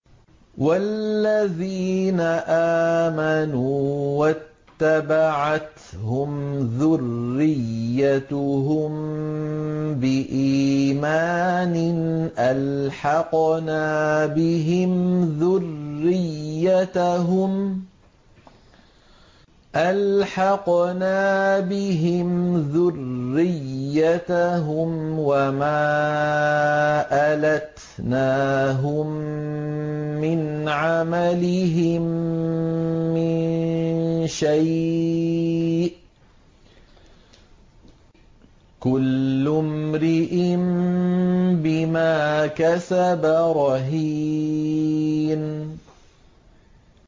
وَالَّذِينَ آمَنُوا وَاتَّبَعَتْهُمْ ذُرِّيَّتُهُم بِإِيمَانٍ أَلْحَقْنَا بِهِمْ ذُرِّيَّتَهُمْ وَمَا أَلَتْنَاهُم مِّنْ عَمَلِهِم مِّن شَيْءٍ ۚ كُلُّ امْرِئٍ بِمَا كَسَبَ رَهِينٌ